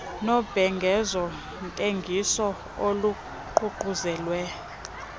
nobhengezo ntengiso oluququzelelwe